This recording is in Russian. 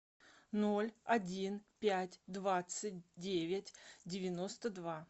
ноль один пять двадцать девять девяносто два